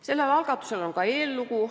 Sellel algatusel on ka eellugu.